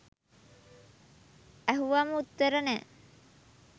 ඇහුවම උත්තර නෑ.